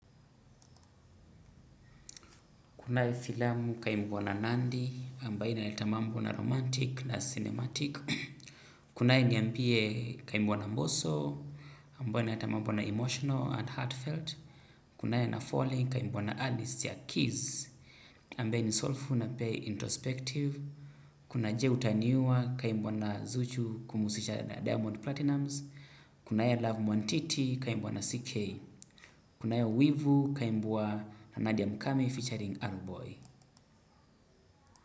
Kunae filamu kaimbwa na nandi, ambaye inaleta mambo na romantic na cinematic. Kunae nyambie kaimbwa na mboso, ambaye naitamamu na emotional and heartfelt. Kunae na falling, kaimbuwa na Alice ya Kiss. Ambae ni soulful na play introspective. Kuna je utaniua kaimbuwa na zuchu kumusisha diamond platinums. Kunae love mwantiti kaimbuwa na CK. Kunae wivu kaimbuwa na Nadia Mkame featuring Alboy.